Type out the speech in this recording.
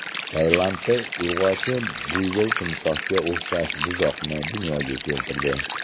Tailandda urg‘ochi buyvol timsohga o‘xshash buzoqni dunyoga keltirdi.